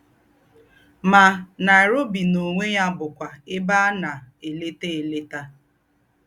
Ma, Nairobi n’onwe ya bụkwa ebe a na-eleta eleta.